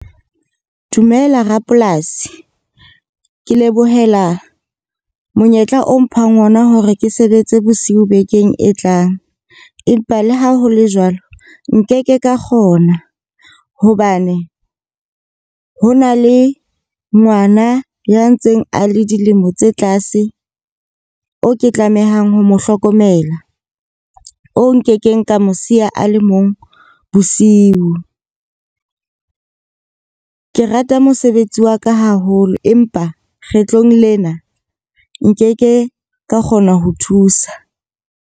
Dumela Rapolasi. Ke lebohela monyetla o mphang ona hore ke sebetse bosiu bekeng e tlang. Empa le ha ho le jwalo, nkeke ka kgona. Hobane ho na le ngwana ya ntseng a le dilemo tse tlase. O ke tlamehang ho mo hlokomela, o nkekeng ka mo siya a le mong bosiu. Ke rata mosebetsi wa ka haholo, empa kgetlong lena nkeke ka kgona ho thusa.